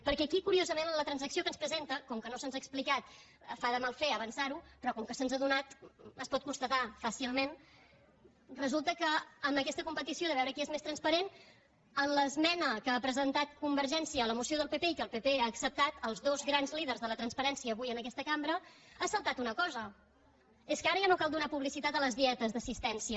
perquè aquí curiosament en la transacció que ens presenta com que no se’ns ha explicat fa de mal fer avançar ho però com que se’ns ha donat es pot constatar fàcilment resulta que en aquesta competició de veure qui és més transparent en l’esmena que ha presentat convergència a la moció del pp i que el pp ha acceptat els dos grans líders de la transparència avui en aquest cambra ha saltat una cosa és que ara ja no cal donar publicitat a les dietes d’assistència